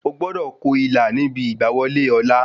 Ogbọ́dọ̀ ko ilà níbi ìgbà wọlé ọ̀la